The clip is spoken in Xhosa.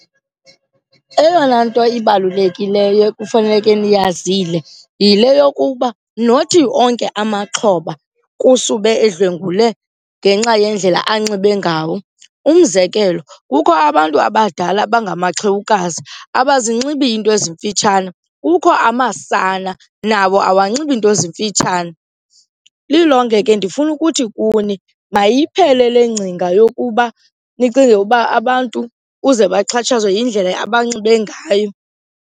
Eyona nto ibalulekileyo ekufaneleke niyazile yile yokuba nothi onke amaxhoba kusube edlwengulwe ngenxa yendlela anxibe ngawo. Umzekelo, kukho abantu abadala abangamaxhewukazi, abazinxibi iinto ezimfutshane. Kukho amasana, nawo awanxibi nto zimfutshane. Lilonke ke ndifuna ukuthi kuni mayiphele le ngcinga yokuba nicinge uba abantu uze baxhatshazwe yindlela abanxibe ngayo.